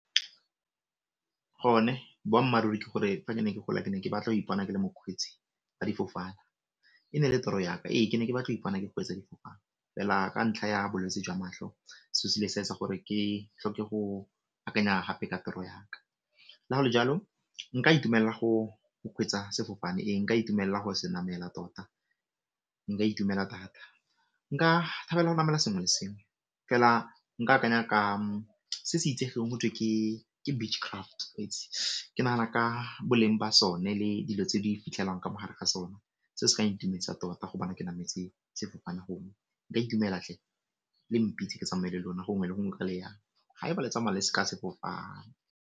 Go ne boammaaruri ke gore fa ke ne ke gola ke ne ke batla go ipona ke le mokgweetsi wa difofane, e ne e le toro yaka. Ee, ke ne ke batla go ipona ke kgweetsa difofane, fela ka ntlha ya bolwetsi jwa matlho seo se ne se etsa gore ke tlhoke go akanya gape ka toro yaka. Ka gore jalo nka itumella go kgweetsa sefofane, e nka itumella go se namela tota nka itumela thata, nka thabela go namela sengwe le sengwe fela nka akanya ka se se itsegeng gotwe ke beach craft ke nagana ka boleng ba sone le dilo tse di fitlhelwang ka mo gare ga sone se se ka itumedisa tota go bona ke nametse sefofane gongwe nka itumela thle, le mpitse ke tsamaye le lona gongwe le gongwe kwa le yang, ga eba le tsamaya ka sefofane.